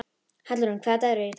Hallrún, hvaða dagur er í dag?